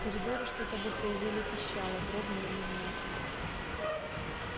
в коридоре что-то будто еле пищало дробно и невнятно